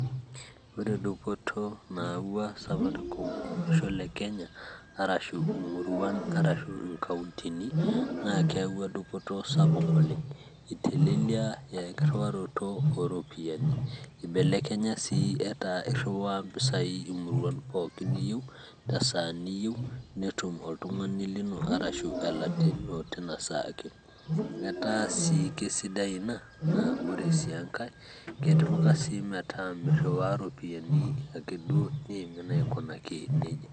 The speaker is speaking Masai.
Ore dupoto nayaua safaricom olosho le Kenya arashu imurian arashu inkauntini naa keyaua dupoto oleng', iteleliaa enkirriwaroto ooropiyiani ibeleknya sii etaa irriwaa impisai imuruan pookin niyieu tesaa niyieu netum oltung'ani lino arashu elatia ino tina saa ake. Etaa sii kesidai ina, naa ore sii enkae ketipika sii metaa mirriwaa iropiyiani akeduo niimin aikounaki neija.